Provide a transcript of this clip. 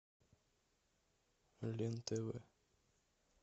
лен тв